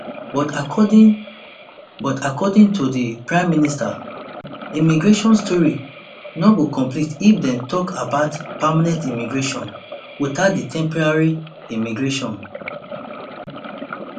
but according but according to di prime minister immigration story no go complete if dem tok about permanent immigration witout di temporary immigration